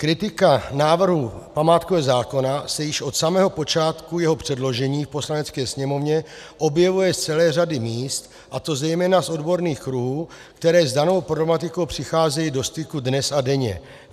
Kritika návrhu památkového zákona se již od samého počátku jeho předložení v Poslanecké sněmovně objevuje z celé řady míst, a to zejména z odborných kruhů, které s danou problematikou přicházejí do styku dnes a denně.